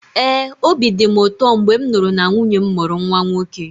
ee, obi dị m ụtọ mgbe m nụrụ na nwunye m mụrụ nwa nwoke